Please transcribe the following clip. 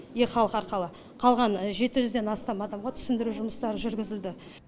е халық арқылы қалған жеті жүзден астам адамға түсіндіру жұмыстары жүргізілді